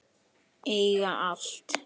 Eiga allt.